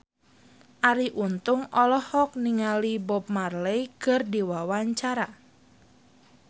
Arie Untung olohok ningali Bob Marley keur diwawancara